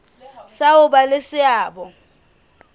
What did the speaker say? sa ho ba le seabo